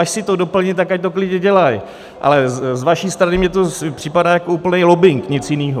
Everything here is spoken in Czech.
Až si to doplní, tak ať to klidně dělají, ale z vaší strany mi to připadá jako úplný lobbing, nic jiného.